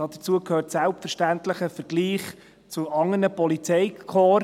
Dazu gehört selbstverständlich ein Vergleich mit anderen Polizeikorps.